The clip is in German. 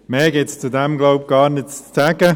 Mehr gibt es, so glaube ich, dazu gar nicht zu sagen.